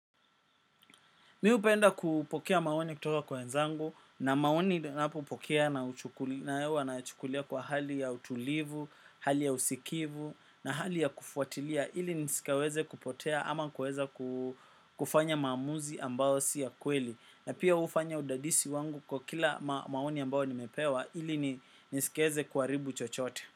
Mimi hupenda kupokea maoni kutoka kwa wenzangu na maoni ninapo pokea huwa na chukulia kwa hali ya utulivu, hali ya usikivu na hali ya kufuatilia ili nisikaweze kupotea ama kuweza kufanya maamuzi ambayo si ya kweli na pia hufanya udadisi wangu kwa kila maoni ambayo nimepewa ili nisikaweze kuharibu chochote.